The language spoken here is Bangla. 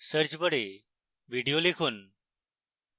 search bar video লিখুন